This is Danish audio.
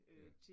Ja